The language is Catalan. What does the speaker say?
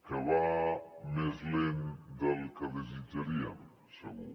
que va més lent del que desitjaríem segur